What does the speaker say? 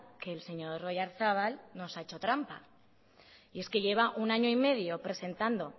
que el señor oyarzabal nos ha hecho trampa y es que lleva un año y medio presentado